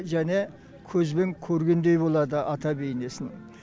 және көзбен көргендей болады ата бейнесін